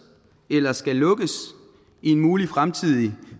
eller skal lukkes i en mulig fremtidig